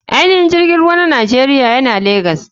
Ainihin filin jirgin ruwa na nigeria yana legas.